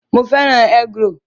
Mo fẹ́ràn egg-roll